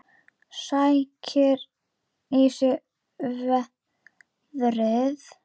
Sækir í sig veðrið.